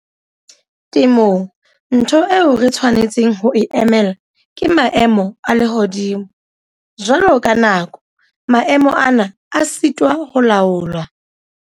Temong ntho eo re tshwanetseng ho e emela ke maemo a lehodimo. Jwalo ka nako, maemo ana a sitwa ho laolwa.